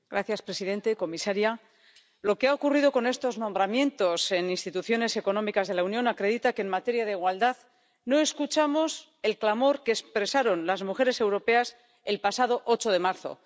Señor presidente, señora comisaria, lo que ha ocurrido con estos nombramientos en instituciones económicas de la Unión acredita que en materia de igualdad no escuchamos el clamor que expresaron las mujeres europeas el pasado 8 de marzo.